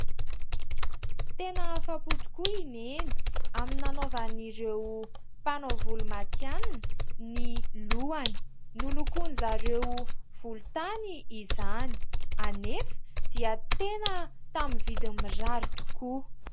Tena afapo tokoa i Neny amin'ny nanaovan'ireo mpanao volo matihanina ny lohany. Nolokoin'izy ireo volotany izany. Anefa dia tena tamin'ny vidiny mirary tokoa.